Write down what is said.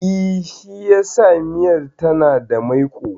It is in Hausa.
I, shi yasa miyar tana da maiƙo